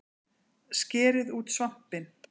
Skerið út svampinn